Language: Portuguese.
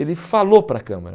Ele falou para a Câmera.